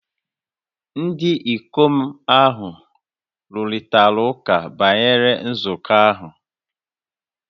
Ndị ikom ahụ rụrịtara ụka banyere nzukọ ahụ